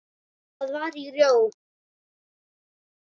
Það var í Róm.